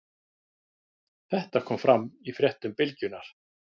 Þetta kom fram í fréttum Bylgjunnar